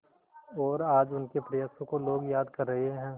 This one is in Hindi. और आज उनके प्रयासों को लोग याद कर रहे हैं